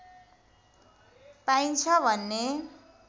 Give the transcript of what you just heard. पाइन्छ भन्ने